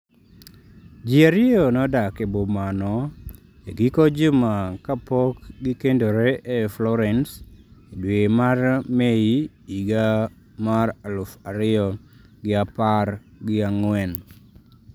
Ji ariyo nodak e boma no e giko juma kapok gikendore e Florence e dwe mar Mei higa mar aluf ariyogiapargi ang'wen.